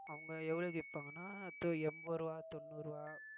அவுங்க எவ்வளவுக்கு விப்பாங்கன்னா எண்பது ரூவா தொண்ணூறு ரூவா